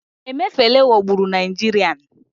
emefele ghagburu nigerian